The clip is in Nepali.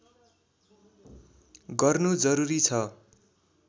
गर्नु जरुरी छ